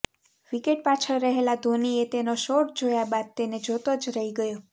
wicket પાછળ રહેલા ધોનીએ તેનો શોટ જોયા બાદ તેને જોતો જ રહી ગયો